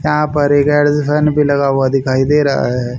यहां पर एक भी लगा हुआ दिखाई दे रहा है।